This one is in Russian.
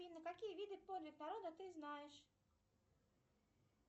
афина какие виды подвиг народа ты знаешь